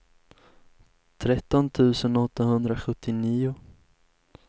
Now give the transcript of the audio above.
tretton tusen åttahundrasjuttionio